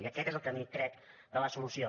i aquest és el camí crec de la solució